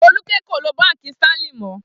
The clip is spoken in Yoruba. Folúkẹ́ kò lo Báńkì Sterling mọ́.